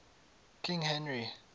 king henry